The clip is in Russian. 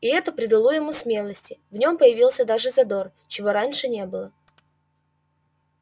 и это придало ему смелости в нем появился даже задор чего раньше не было